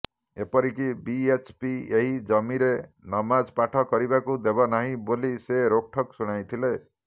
ଏପରି କି ବିଏଚପି ଏହି ଜମିରେ ନମାଜପାଠ କରିବାକୁ ଦେବନାହିଁ ବୋଲି ସେ ରୋକଠୋକ୍ ଶୁଣାଇଥିଲେ